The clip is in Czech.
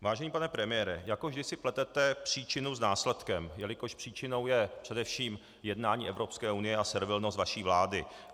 Vážený pane premiére, jako vždy si pletete příčinu s následkem, jelikož příčinou je především jednání Evropské unie a servilnost vaší vlády.